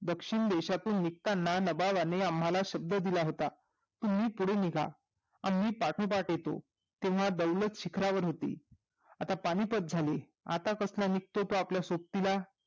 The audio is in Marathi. दक्षिणदेशातील निघताना नबाबानी आम्हाला शब्द दिला होता तुम्ही पुढे चला आम्ही पाटोपात येतो तेव्हा दौलत शिखरावर होती आता पानिपत झाली आता कसला निघतो तो आपल्या सोबतीला